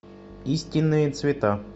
истинные цвета